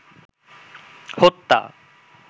হত্যা